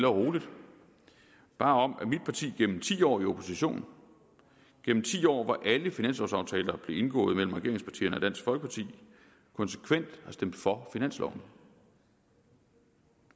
og roligt om at mit parti igennem ti år i opposition gennem ti år hvor alle finanslovaftaler blev indgået mellem regeringspartierne og dansk folkeparti konsekvent har stemt for finansloven